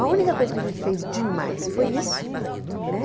A única coisa que a gente fez demais foi isso, né?